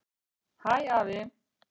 Hæ, afi.